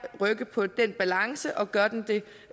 rykke på den balance og gør det